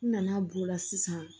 N nana b'o la sisan